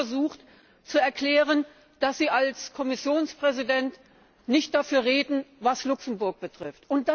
Sie haben versucht zu erklären, dass Sie als Kommissionspräsident nicht dafür stehen, was Luxemburg betrifft.